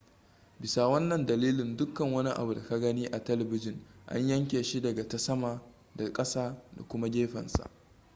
bisa wannan dalilin dukkan wani abu da ka gani a telebijin an yanyanke shi daga ta sama da kasa da kuma gefensa